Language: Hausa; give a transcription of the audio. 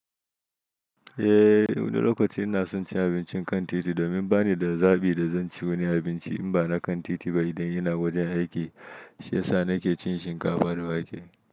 Eh, wani lokaci ina son cin abincin kan titi domin bani da zabi da zan ci wani abinci in ba na kan titi ba idan ina wajen aiki, sai sa nake cin shinkafa da wake.